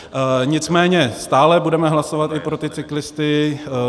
Nicméně stále budeme hlasovat i pro ty cyklisty.